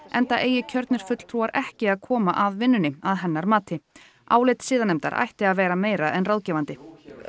enda eigi kjörnir fulltrúar ekki að koma að vinnunni að hennar mati álit siðanefndar ætti að vera meira en ráðgefandi